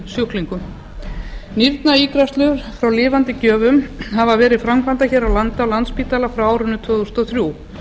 sjúklingum nýrnaígræðslur frá lifandi gjöfum hafa verið framkvæmdar hér á landi á landspítala frá árinu tvö þúsund og þrjú